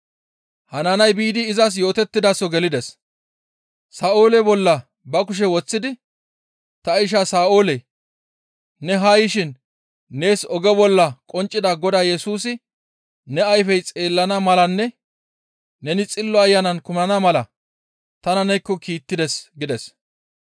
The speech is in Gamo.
Hanaaniyay biidi izas yootettidaso gelides. Sa7oole bolla ba kushe woththidi, «Ta isha Sa7oole ne haa yishin nees oge bolla qonccida Godaa Yesusi ne ayfey xeellana malanne neni Xillo Ayanan kumana mala tana neekko kiittides» gides.